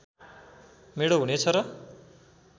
मेढो हुनेछ र